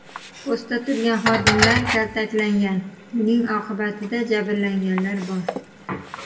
Postda turgan xodimlar kaltaklangan, buning oqibatida jabrlanganlar bor.